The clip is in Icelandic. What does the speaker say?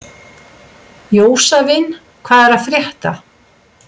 Jósavin, hvað er að frétta?